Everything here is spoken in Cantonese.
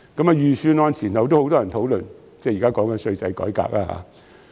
在預算案前後，很多人也在討論稅制改革。